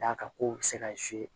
D'a ka kow bɛ se ka